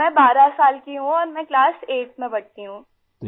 میں 12 سال کی ہوں اور آٹھویں کلاس میں پڑھتی ہوں